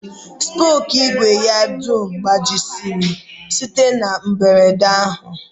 Spookụ ìgwè ya dum gbajisịrị site na mberede ahụ